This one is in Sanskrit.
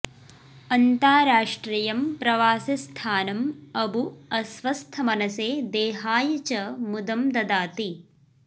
अन्ताराष्ट्रियं प्रवासिस्थानम् अबु अस्वस्थमनसे देहाय च मुदं ददाति